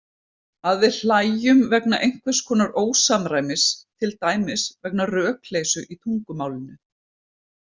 Að við hlæjum vegna einhvers konar ósamræmis, til dæmis vegna rökleysu í tungumálinu.